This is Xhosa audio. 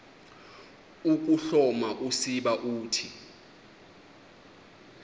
ukuhloma usiba uthi